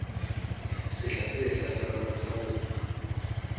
sehla se hlahlamang sa ho